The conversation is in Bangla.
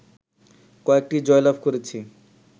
কয়েকটি জয়লাভ করেছি